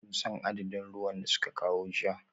Kun san adadin ruwan da suka kawo jiya?